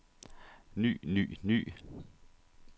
ny ny ny